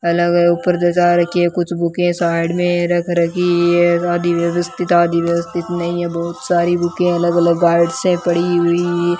अलग-अलग ऊपर जजा रखी है कुछ बुके साइड मे रख रखी है आधी व्यवस्थित है आधी व्यवस्थित नहीं है बहोत सारी बुके अलग-अलग गार्ड से पड़ी हुई --